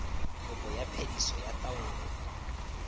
kopo ya phediso ya taolo